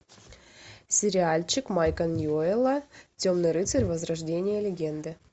сериальчик майка ньюэлла темный рыцарь возрождение легенды